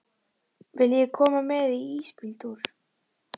Viljiði koma með í ísbíltúr?